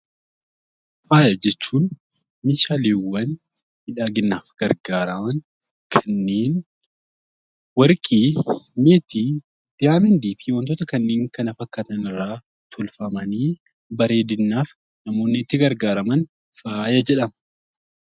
Faaya jechuun meeshaaleewwan miidhaginaaf gargaaran kanneen Warqii, Meetii, Diyaamandii fi wantoota kanneen kana fakkaatan irraa tolfamanii, bareedinaaf namoonni itti gargaaraman 'Faaya' jedhama.